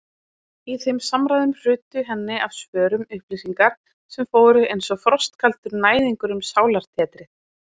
Í þeim samræðum hrutu henni af vörum upplýsingar sem fóru einsog frostkaldur næðingur um sálartetrið.